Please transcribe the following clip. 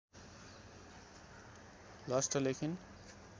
lost लेखिन्